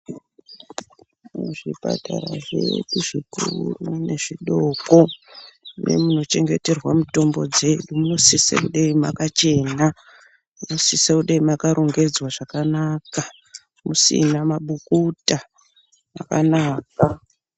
Muzvipatara zvedu zvikuru nezvidoko nemunochengeterwa mitombo dzedu munosise kudai makachena ,munosise kudai makarongedzwa zvakanaka musina mabukuta makanaka.